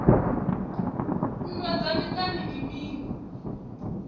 nndwa dza miṱani ndi mini